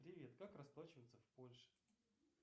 привет как расплачиваться в польше